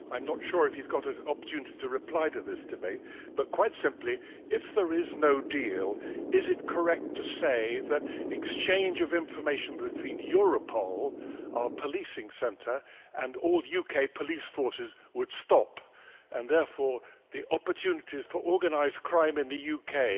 I'm not sure if he's got an opportunity to reply in this debate, but quite simply if there is no deal, is it correct to say that exchange of information between Europol, our policing centre, and all UK police forces, would stop, and therefore that the opportunities for organised crime in the UK